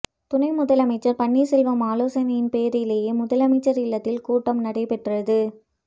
துணை முதலமைச்சர் பன்னீர்செல்வம் ஆலோசனையின் பேரிலேயே முதலமைச்சர் இல்லத்தில் கூட்டம் நடைபெற்றது